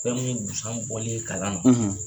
Fɛn mun yebusan bɔli ye kalan na